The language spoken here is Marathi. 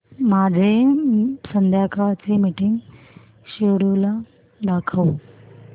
माझे संध्याकाळ चे मीटिंग श्येड्यूल दाखव